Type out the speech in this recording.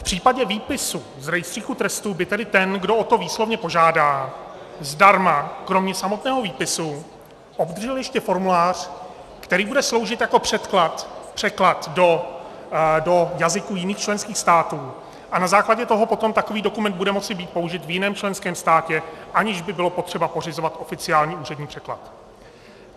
V případě výpisu z rejstříku trestů by tedy ten, kdo o to výslovně požádá, zdarma kromě samotného výpisu obdržel ještě formulář, který bude sloužit jako překlad do jazyků jiných členských států, a na základě toho potom takový dokument bude moci být použit v jiném členském státě, aniž by bylo potřeba pořizovat oficiální úřední překlad.